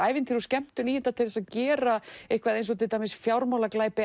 ævintýri og skemmtun í þetta til að gera eins og til dæmis